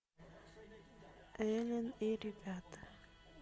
элен и ребята